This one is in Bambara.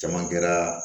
Caman kɛra